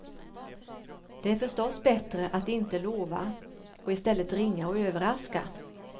Det är förstås bättre att inte lova, och istället ringa och överraska.